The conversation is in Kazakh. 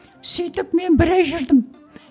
сөйтіп мен бір ай жүрдім